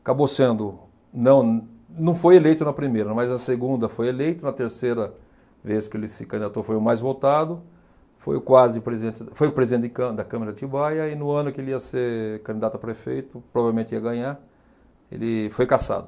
Acabou sendo... não, não foi eleito na primeira, mas na segunda foi eleito, na terceira vez que ele se candidatou foi o mais votado, foi o quase presidente foi o presidente de câmera da Câmara de Atibaia e no ano que ele ia ser candidato a prefeito, provavelmente ia ganhar, ele foi cassado.